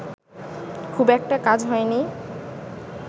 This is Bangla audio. খুব একটা কাজ হয়নি